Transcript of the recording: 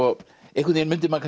einhvern veginn mundi maður